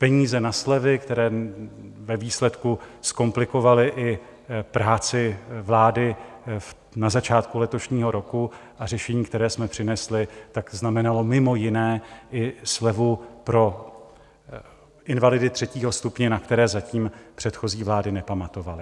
Peníze na slevy, které ve výsledku zkomplikovaly i práci vlády na začátku letošního roku, a řešení, které jsme přinesli, tak znamenalo mimo jiné i slevu pro invalidy třetího stupně, na které zatím předchozí vlády nepamatovaly.